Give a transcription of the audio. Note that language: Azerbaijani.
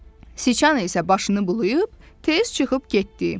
Siçan isə başını bulayıb, tez çıxıb getdi.